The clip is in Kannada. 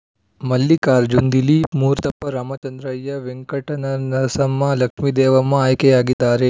ಮಲ್ಲಿಕಾರ್ಜನ್ ದಿಲೀಪ್ ಮೂರ್ತಪ್ಪ ರಾಮಚಂದ್ರಯ್ಯ ವೆಂಕಟನರಸಮ್ಮ ಲಕ್ಷ್ಮೀದೇವಮ್ಮ ಆಯ್ಕೆಯಾಗಿದ್ದಾರೆ